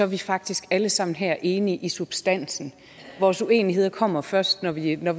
vi faktisk alle sammen her enige i substansen vores uenigheder kommer først når vi er